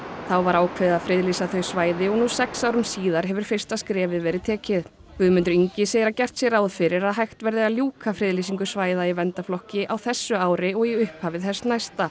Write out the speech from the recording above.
þá var ákveðið að friðlýsa þau svæði og nú sex árum síðar hefur fyrsta skrefið verið tekið Guðmundur Ingi segir að gert sé ráð fyrir að hægt verði að ljúka friðlýsingu svæða í verndarflokki á þessu ári og í upphafi þess næsta